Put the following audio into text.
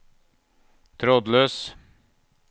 trådløs